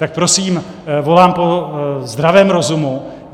Tak prosím volám po zdravém rozumu.